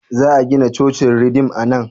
Za a gina cocin ridim a nan?